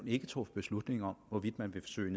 ikke truffet beslutning om hvorvidt man vil søge